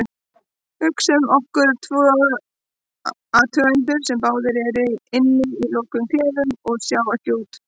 Hugsum okkur tvo athugendur sem báðir eru inni í lokuðum klefum og sjá ekki út.